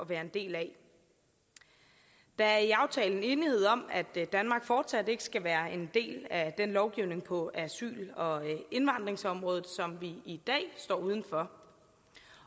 være en del af der er i aftalen enighed om at danmark fortsat ikke skal være en del af den lovgivning på asyl og indvandringsområdet som vi i dag står uden for